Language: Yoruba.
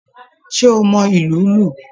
Ṣe o mọ ilù lu?